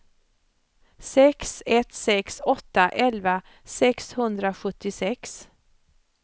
sex ett sex åtta elva sexhundrasjuttiosex